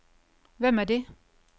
Hvem er det